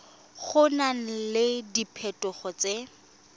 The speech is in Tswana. go na le diphetogo tse